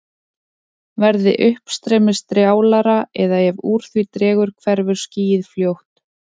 Verði uppstreymið strjálara eða ef úr því dregur hverfur skýið fljótt.